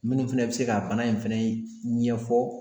Minnu fɛnɛ bɛ se ka bana in fɛnɛ ɲɛfɔ